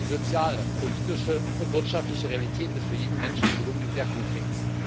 Denn die soziale, politische und wirtschaftliche Realität ist für jeden Menschen in Kolumbien sehr konkret.